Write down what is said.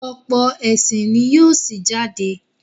ọ̀pọ̀ ẹ̀sìn ní yíò sí jáde.